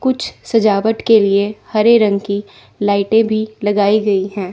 कुछ सजावट के लिए हरे रंग की लाइटें भी लगाई गई है।